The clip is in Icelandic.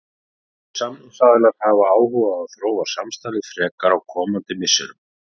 Báðir samningsaðilar hafa áhuga á að þróa samstarfið frekar á komandi misserum.